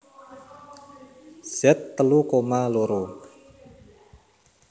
Z telu koma loro